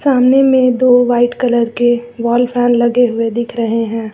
सामने में दो वाइट कलर के वॉल फैन लगे हुए दिख रहे हैं।